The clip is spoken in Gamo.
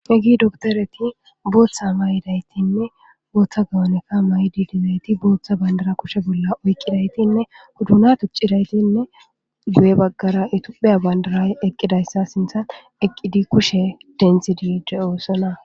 Hegi doktoreti booththa ma 'idaytinne booththa gawoneka mayidi dizayti bootha bandara kushe bolla oyqqidaytinne huduna tuccidaytinne guye baggara itupheya bandaray eqqidayssa sinthan eqqidi kushe denthidi diiyoossona.